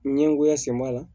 Ɲɛgoya sen b'a la